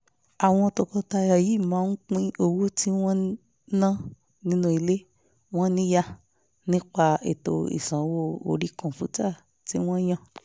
àwọn tọkọtaya yìí máa ń pín owó tí wọ́n ń ná nínú ilé wọn níyà nípa ètò ìsanwó orí kọ̀ǹpútà tí wọ́n yàn